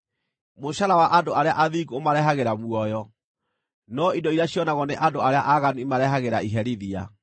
Mũcaara wa andũ arĩa athingu ũmarehagĩra muoyo, no indo iria cionagwo nĩ andũ arĩa aaganu imarehagĩra iherithia.